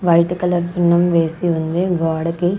White colour సున్నం వేసి ఉంది గోడకి.